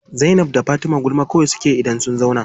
Zainab da Fatima gulma kawai suke yi idan sun zauna.